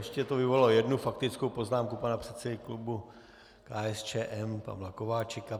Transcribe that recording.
Ještě to vyvolalo jednu faktickou poznámku pana předsedy klubu KSČM Pavla Kováčika.